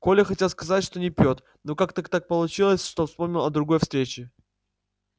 коля хотел сказать что не пьёт но как то так получилось что вспомнил он о другой встрече